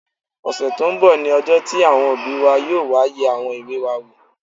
Ọ̀sẹ̀ tó n bọ̀ ní ọjọ́ tí àwọn òbí wa yóò wá yẹ àwọn ìwé wa wò